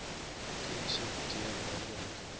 chemiese d burgerlike